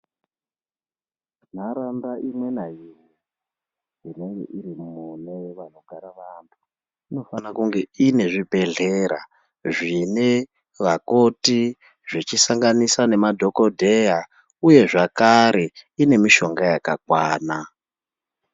Ntaraunda imwe naimwe inenge iri mune vanogara vantu inofana kunge ine zvibhedhleya zvine vakoti zvechisanganisa nemadhokodheya uye zvakare ine mishonga yakakwana.